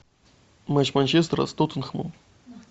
матч манчестера с тоттенхэмом